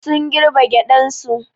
Sun girbe gyaɗan su.